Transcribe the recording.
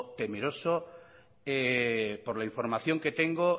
temeroso por la información que tengo